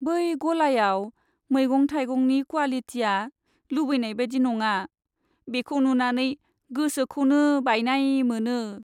बै गलायाव मैगं थाइगंनि क्वालिटिया लुबैनाय बायदि नङा, बेखौ नुनानै गोसोखौसो बायनाय मोनो।